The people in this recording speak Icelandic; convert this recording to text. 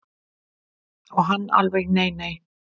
Og hann alveg nei nei.